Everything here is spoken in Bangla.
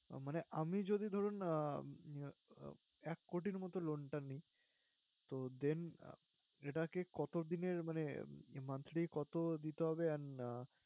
মানে আমি যদি ধরুন উম এক কোটির মতো loan টা নিই, তো then এটাকে কতদিনের মানে monthly কতো দিতে হবে and